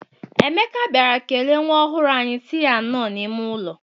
Emeka bịara kelee nwa ọhụrụ anyị sị ya nnọọ n'ime ụwa.